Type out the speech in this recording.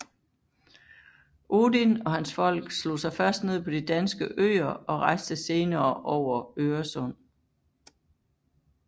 Odin og hans folk slog sig først ned på de danske øer og rejste senere over Øresund